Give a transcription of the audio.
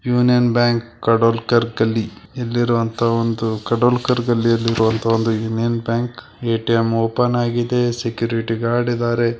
Union bank Kadolkar Galli ಇಲ್ಲಿರುವಂತಹ ಒಂದು ಕಾಡೋಲ್ಕರ ಗಲ್ಲಿ ಒಂದು ಯೂನಿಯನ್ ಬ್ಯಾಂಕ್ ಯು ಎ.ಟಿ.ಎಂ. ಓಪನ್ ಆಗಿದೆ ಸೆಕ್ಯೂರಿಟಿ ಗಾರ್ಡ್ ಇದಾರೆ.